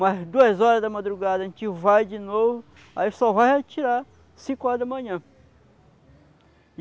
Mas duas horas da madrugada a gente vai de novo, aí só vai retirar cinco horas da manhã.